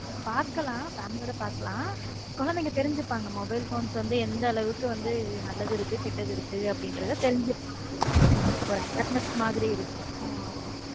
பார்க்கலாம் family யோட பார்க்கலாம் குழந்தைங்க தெருஞ்சுக்கு வாங்க mobile phones எந்த அளவுக்கு வந்து நல்லதுக்கு இருக்கு கெட்டது இருக்கு அப்படிங்கிறது தெரிஞ்சுக்கோங்க ஒரு awareness மாதிரி இருக்கு ஆமா.